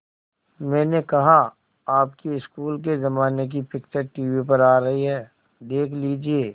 मैंने कहा आपके स्कूल के ज़माने की पिक्चर टीवी पर आ रही है देख लीजिये